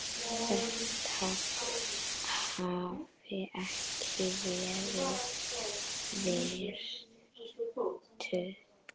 þeirra hafi ekki verið virtur.